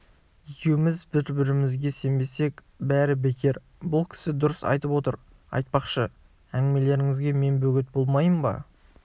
екеуміз бір-бірімізге сенбесек бәрі бекер бұл кісі дұрыс айтып отыр айтпақшы әңгімелеріңізге мен бөгет болмаймын ба